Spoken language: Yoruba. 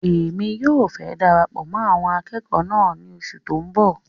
Èmi náà fẹ darapọ̀ mọ́ àwọn akẹ́kọ̀ọ́ náà ní oṣù tó n bọ